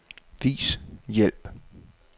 Vis hjælp.